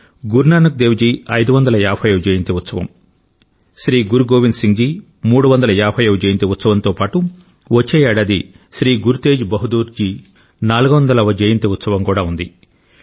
గురు నానక్ దేవ్ జీ 550 వ జయంతి ఉత్సవం శ్రీ గురు గోవింద్ సింగ్ జీ 350 వ జయంతి ఉత్సవంతో పాటు వచ్చే ఏడాది శ్రీ గురు తేజ్ బహదూర్ జీ 400 వ జయంతి ఉత్సవం కూడా ఉంది